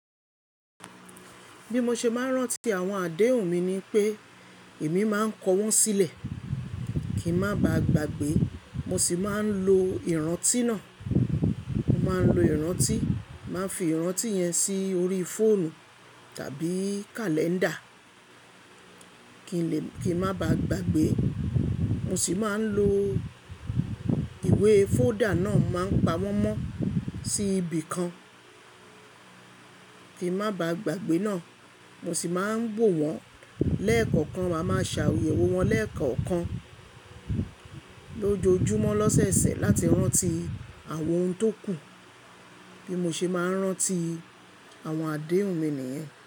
Bí mo ṣe máa ń rántí àwọn àdéhùn mi ni pé èmi máa ń kọ wọ́n sílẹ̀ kíń má baà gbàgbé. Mo sì máa ń lo ìrántí náà. Mo máa ń lo ìrántí, máa ń fi ìrántí yẹn sí orí fóònù tàbí kàlẹ́ńdà kíń lè, kíń má baà gbàgbé. Mo sì máa ń lo ìwé fóòdà náà máa ń pa wọ́n mọ́ sí ibìkan kíń má baà gbàgbé náà. Mo sì máa ń wò wọ́n lẹ́ẹ̀kọ̀kan. Máa máa ṣà ayewo wọ́n lẹ́ẹ̀kọ̀kan lójoojúmọ́ lọ́sẹ̀ẹsẹ̀ láti rántí àwọn oun tó kù. Bí mo ṣe máa ń rántí àwọn àdéhùn mi nìyẹn.